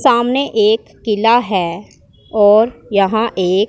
सामने एक किला है और यहां एक--